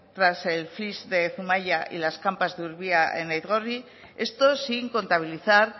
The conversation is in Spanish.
tras el flysch de zumaia y las campas de urbia en aizkorri esto sin contabilizar